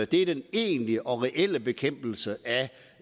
det er den egentlige og reelle bekæmpelse